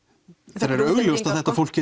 þegar þetta fólk